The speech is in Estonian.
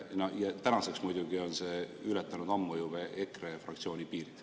Tänaseks on see muidugi juba ammu ületanud EKRE fraktsiooni piirid.